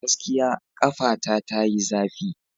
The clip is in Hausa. Gaskiya! kafata tayi zafi.